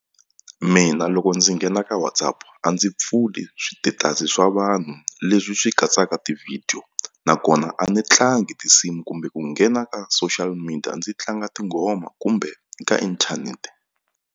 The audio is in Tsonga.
Mina loko ndzi nghena ka WhatsApp a ndzi pfuli switetasi swa vanhu leswi swi katsaka tivhidiyo nakona a ni tlangi tinsimu kumbe ku nghena ka social media ndzi tlanga tinghoma kumbe ka inthanete.